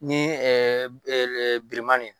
Ni bilenman ye